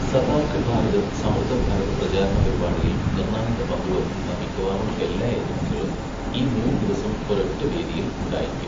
സതാർക്ക് ഭാരത്, സമൃദ്ധ ഭാരത് പ്രചാരണ പരിപാടിയിൽ നിർണ്ണായക പങ്ക് വഹിക്കുന്ന മിക്കവാറും എല്ലാ ഏജൻസികളും ഈ മൂന്നു ദിവസം ഒരൊറ്റ വേദിയിൽ ഉണ്ടായിരിക്കും.